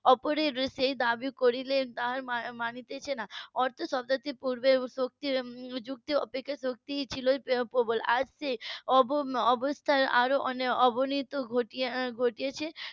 অপরের সেই দাবি করিলেন তা আর মানছে না অর্থাৎ . শক্তি যুক্তি অপেক্ষা শক্তি ই ছিল প্রবল আজ সেই অব~ অবস্থার আরো অবনতি ঘটেছে